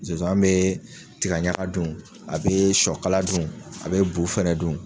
Zonzan bɛ tiga ɲaka dun, a bi sɔ kala dun, a bi bu fɛnɛ dun.